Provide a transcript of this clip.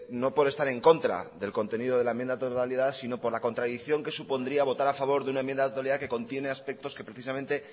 no por estar en contra del contenido de la enmienda a la totalidad sino por la contradicción que supondría votar a favor de una enmienda a la totalidad que contiene aspectos que precisamente